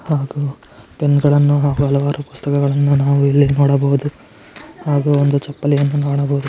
ಹಾಗು ಪೆನ್ ಗಳನ್ನೂ ಹಲವಾರು ಪುಸ್ತಕಗಳನ್ನು ನಾವು ಇಲ್ಲಿ ನೋಡಬಹುದು. ಹಾಗು ಒಂದು ಚಪ್ಪಲಿಯನ್ನು ನೋಡಬಹುದು.